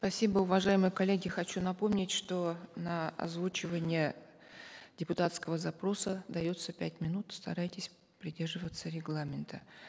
спасибо уважаемые коллеги хочу напомнить что на озвучивание депутатского запроса дается пять минут старайтесь придерживаться регламента